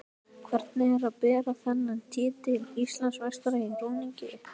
Hvernig er að bera þennan titil: Íslandsmeistari í rúningi?